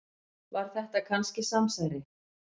Var þetta kannski samsæri?